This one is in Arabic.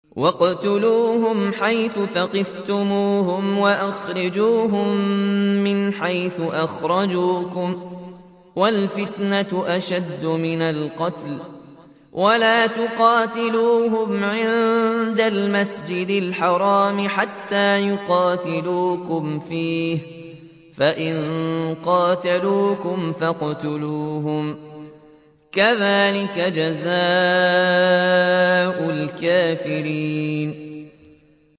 وَاقْتُلُوهُمْ حَيْثُ ثَقِفْتُمُوهُمْ وَأَخْرِجُوهُم مِّنْ حَيْثُ أَخْرَجُوكُمْ ۚ وَالْفِتْنَةُ أَشَدُّ مِنَ الْقَتْلِ ۚ وَلَا تُقَاتِلُوهُمْ عِندَ الْمَسْجِدِ الْحَرَامِ حَتَّىٰ يُقَاتِلُوكُمْ فِيهِ ۖ فَإِن قَاتَلُوكُمْ فَاقْتُلُوهُمْ ۗ كَذَٰلِكَ جَزَاءُ الْكَافِرِينَ